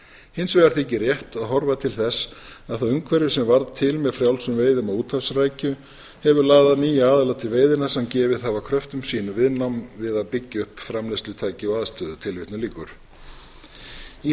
hins vegar þykir rétt að horfa til þess að það umhverfi sem varð til með frjálsum veiðum á úthafsrækju hefur laðað nýja aðila til veiðanna sem gefið hafa kröftum sínum viðnám við að byggja upp framleiðslutæki og aðstöðu í